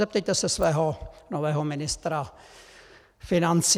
Zeptejte se svého nového ministra financí.